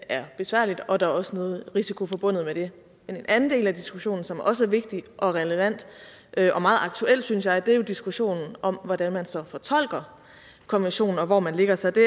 er besværligt og at der også noget risiko forbundet med det en anden del af diskussionen som også er vigtig og relevant og meget aktuel synes jeg er jo diskussionen om hvordan man så fortolker konventionen og hvor man lægger sig det